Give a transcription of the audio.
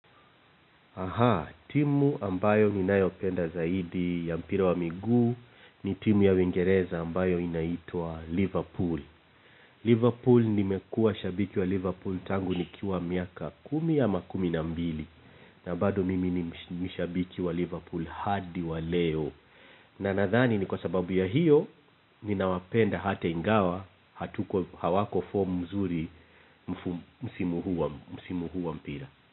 Aha, timu ambayo ninayopenda zaidi ya mpira wa miguu ni timu ya Uingereza ambayo inaitwa Liverpool. Liverpool nimekuwa shabiki wa Liverpool tangu nikiwa miaka kumi au kumi na mbili. Na bado mimi ni shabiki wa Liverpool hadi wa leo. Na nathani ni kwa sababu ya hiyo ninawapenda hata ingawa hatuko hawako form mzuri msimu huu wa mpira.